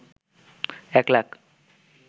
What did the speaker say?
১ lakh